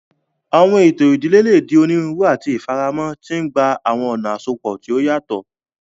Awọn eto idile le di oniruuru ati ifaramọ, ti ngba awọn ọna asopọ ti o yatọ.